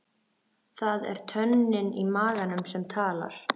Það er tönnin í maganum sem talar.